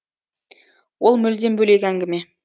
ол мүлдем бөлек әңгіме